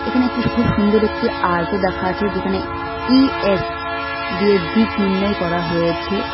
এখানে একটি খুব সুন্দর একটি আর্টও দেখা আছে যেখানে ই_এস দিয়ে দিক নির্ণয় করা হয়েছে।